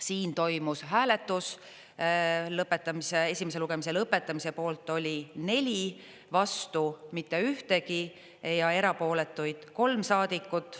Siin toimus hääletus: esimese lugemise lõpetamise poolt oli neli, vastu mitte ühtegi ja erapooletuid kolm saadikut.